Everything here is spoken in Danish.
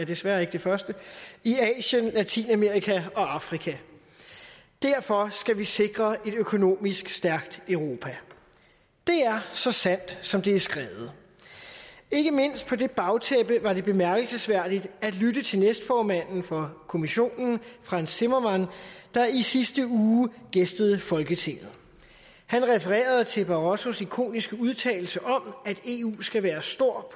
desværre ikke det første i asien latinamerika og afrika derfor skal vi sikre et økonomisk stærkt europa det er så sandt som det er skrevet ikke mindst på det bagtæppe var det bemærkelsesværdigt at lytte til næstformanden for kommissionen frans timmermanns der i sidste uge gæstede folketinget han refererede til barrosos ikoniske udtalelser om at eu skal være stor